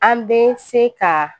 An bɛ se ka